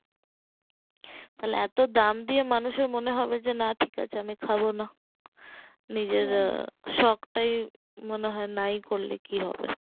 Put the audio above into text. তাহলে এতো দাম দিয়ে মানুষের মনে হবে যে না ঠিক আছে আমি খাবো না নিজের শকটাই মনে হয় নাই করলে কি হবে